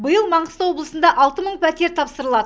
биыл маңғыстау облысында алты мың пәтер тапсырылады